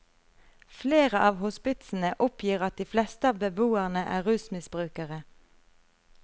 Flere av hospitsene oppgir at de fleste av beboerne er rusmisbrukere.